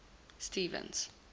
stevens